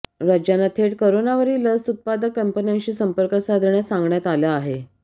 राज्यांना थेट करोनावरील लस उत्पादक कंपन्यांशी संपर्क साधण्यास सांगण्यात आलं आहे